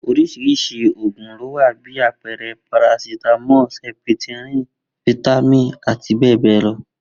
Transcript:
Orísirisi àwọn òògun lówa bi àpẹẹrẹ parasítámọ, sẹpitirin, fítámìn àti bẹẹ bẹẹ lọ.